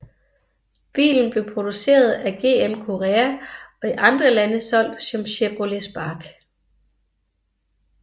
Bilen blev produceret af GM Korea og i andre lande solgt som Chevrolet Spark